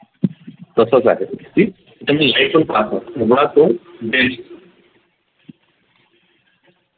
तसच आहे ते